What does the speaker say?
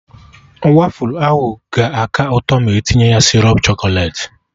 Wafụlụ ahụ ga-aka ụtọ ma etinye ya sịrọp chọkọlet